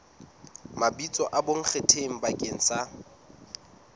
mabitso a bonkgetheng bakeng sa